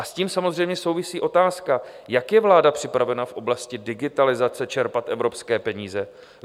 A s tím samozřejmě souvisí otázka, jak je vláda připravena v oblasti digitalizace čerpat evropské peníze?